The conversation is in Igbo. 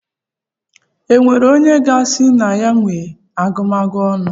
E nwere onye ga-asị na ya nwe agụmagụ ọnụ?